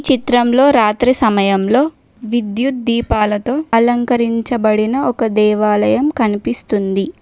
చిత్రంలో రాత్రి సమయంలో విద్యుత్ దీపాలతో అలంకరించబడిన ఒక దేవాలయం కనిపిస్తుంది.